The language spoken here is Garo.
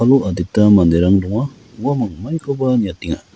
adita manderang donga uamang maikoba niatenga.